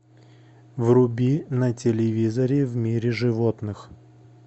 вруби на телевизоре в мире животных